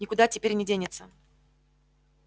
никуда теперь не денется